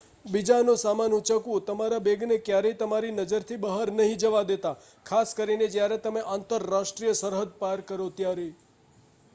બીજાનો સામાન ઉંચકવું તમારા બૅગને ક્યારેય તમારી નજરથી બહાર નહિ જવા દેતા ખાસ કરીને જયારે તમે આંતરાષ્ટ્રીય સરહદ પાર કરો ત્યારે